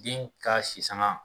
Den ka si sanŋa